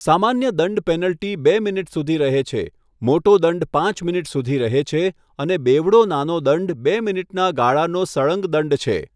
સામાન્ય દંડ પેનલ્ટી બે મિનિટ સુધી રહે છે, મોટો દંડ પાંચ મિનિટ સુધી રહે છે અને બેવડો નાનો દંડ બે મિનિટના ગાળાનો સળંગ દંડ છે.